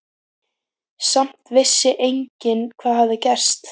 Samt vissi enginn hvað hafði gerst.